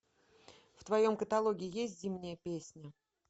в твоем каталоге есть зимняя песня